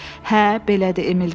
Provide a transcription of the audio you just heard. Hə, belədir, Emil dedi.